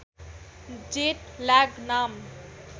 jet lag नाम